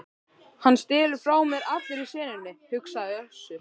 Hann stelur frá mér allri senunni, hugsaði Össur.